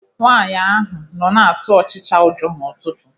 Nwaanyi ahụ nọ na-atụ ọchịcha ụjọ n'ụtụtụ.